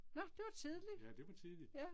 Nåh det var tidligt. Ja